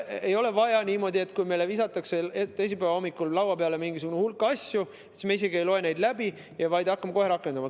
Ei ole vaja teha niimoodi, et kui meile visatakse teisipäeva hommikul laua peale mingisugune hulk asju, siis me isegi ei loe neid läbi, vaid hakkame kohe rakendama.